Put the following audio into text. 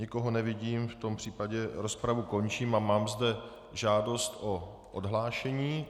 Nikoho nevidím, v tom případě rozpravu končím a mám zde žádost o odhlášení.